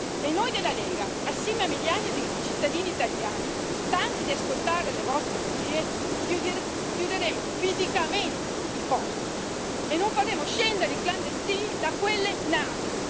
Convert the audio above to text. E noi della Lega, assieme a migliaia di cittadini italiani stanchi di ascoltare le vostre bugie, chiuderemo fisicamente i porti e non faremo scendere i clandestini da quelle navi.